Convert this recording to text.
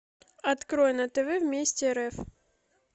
открой на тв вместе рф